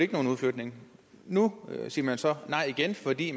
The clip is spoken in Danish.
ikke nogen udflytning nu siger man så nej igen fordi